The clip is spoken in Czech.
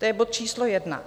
To je bod číslo jedna.